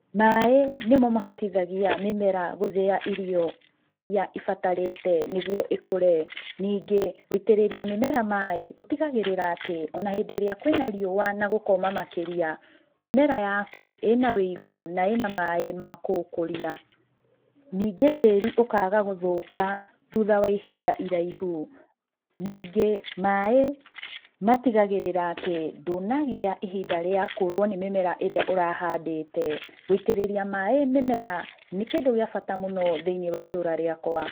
Maaĩ nĩmo mahotithagia mĩmera gũthĩa irio iria ĩbatarĩte nĩguo ĩkũre. Ningĩ, gũitĩrĩria mĩmera maaĩ gũtigagĩrĩra atĩ ona hĩndĩ ĩrĩa kwĩna riũa na gũkoma makĩria, mĩmera yaku ĩna wũigũ na ĩna maaĩ ma kũmĩkũria. Ningĩ tĩri ũkaga gũthũka thutha wa ihinda iraihu. Ningĩ maaĩ matigagĩrĩra atĩ ndũnagĩa ihinda rĩa kũrwo nĩ mĩmera ĩrĩa ũrahandĩte. Gũitĩrĩria maaĩ mĩmera nĩ kĩndũ gĩa bata mũno thĩiniĩ wa itũra rĩakwa.